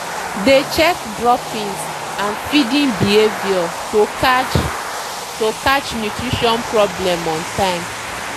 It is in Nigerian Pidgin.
dey check droppings and feeding behavior to catch to catch nutrition problem on time.